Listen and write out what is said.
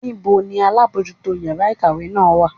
Níbo ni alábojútó yàrá ìkàwé náà wà?